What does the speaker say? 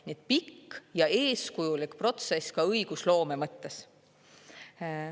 Nii et pikk ja eeskujulik protsess ka õigusloome mõttes.